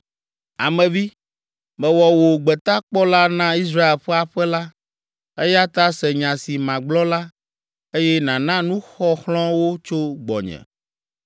“Ame vi, mewɔ wò gbetakpɔla na Israel ƒe aƒe la, eya ta se nya si magblɔ la, eye nàna nuxɔxlɔ̃ wo tso gbɔnye.